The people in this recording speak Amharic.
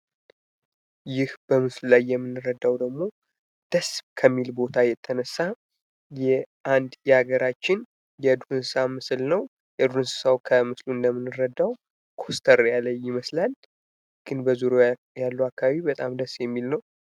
ይህ በምስሉ ላይ የምንረዳው ደግሞ ደስ ከሚል ቦታ የተነሳ የአንድ ሀገራችን የዱር እንሰሳ ምስል ነው። የዱር እንሰሳው ከምስሉ እንደምንረዳው ክስተር ያለ ይመስላል። ግን በዙሪያው ያለው አካባቢ በጣም ደስ የሚል ነው።